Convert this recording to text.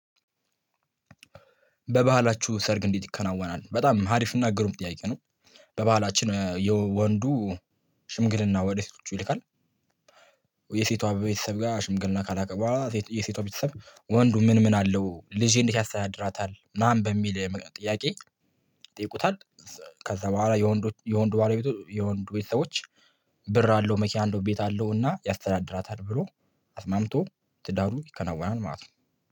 በባህላችሁ ሰርግ እንዴት ይከናወናል? በጣም አሪፍና ግሩም ጥያቄ ነው በባህላችን ያው ወንዱ ሽምግልና ወዴት ይልካል የሴቷ ቤተሰብ ጋር ሽምግልና ከላከ በኋላ የሴቷ ቤተሰብ ወንዱ ምን ምን አለው ልጄን እንዴት ያስተያድራታል ማን በሚል ጥያቄ ይጠይቁታል ከዛ በኋላ የወንዶች የወንዱ ባላቤቶች የወንዱ ቤተሰቦች ብር አለው መኪና አለው ቤት አለው ያስተዳድራታል ብሎ አስማምቶ ትዳሩ ይከናወናል ማለት ነው